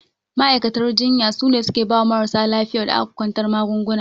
Ma'aikatan jinya sune suke bawa marasa lafiyar da aka kwantar magaunguna.